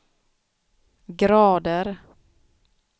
grader